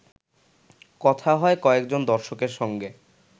কথা হয় কয়েকজন দর্শকের সঙ্গে